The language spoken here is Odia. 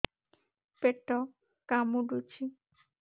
ପେଟ କାମୁଡୁଛି